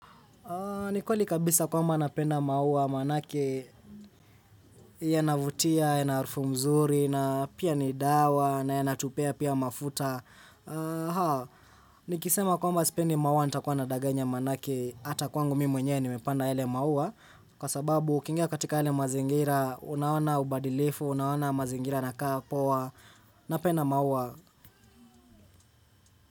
Ni kweli kabisa kwamba napenda maua manake yanavutia, yanaharufu mzuri na pia ni dawa na yanatupea pia mafuta. Nikisema kwamba sipendi maua nitakuwa nadaganya manake hata kwangu mimi mwenyewe nimepanda yale maua. Kwa sababu ukingia katika yale mazingira unaona ubadilifu, unaona mazingira yanakaa poa, napenda maua.